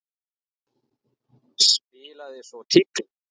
Spilaði svo tígli.